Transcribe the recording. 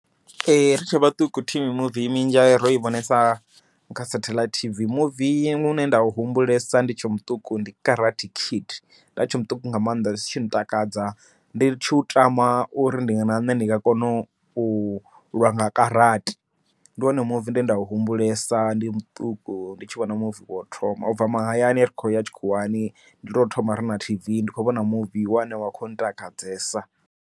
Ee ritshe vhaṱuku thi mimuvi minzhi ro i vhonesa nga satheḽaithi tv, muvi une nda u humbulesa ndi tshe muṱuku ndi karate kid nda tshe muṱuku nga maanḓa zwi tshi no takadza. Ndi tshi u tama uri ndi nga na ndi nga kona ulwa nga karate ndi wone muvi une nda u humbulesa ndi muṱuku ndi tshi vhona muvi wo thoma, ubva mahayani rikhoya tshikhuwani ndi lwo thoma rina tv ndi kho vhona muvi wane wa kho ntakadzesa.